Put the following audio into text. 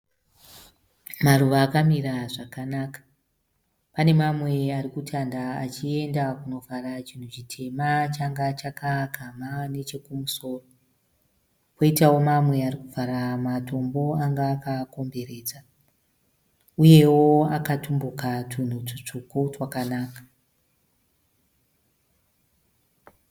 Maruva akamira zvakanaka. Pane mamwe ari kutanda achienda kunovhara chinhu chitema changa chakaagamha nechekumusoro. Poitawo mamwe ari kuvhara matombo anga akaakomberedza. Uyewo akatumbuka tunhu tutsvuku twakanaka.